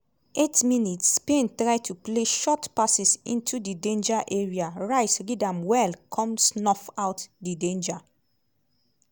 8 mins - spain try to play short passes into di danger area rice read am well come snuff out di danger.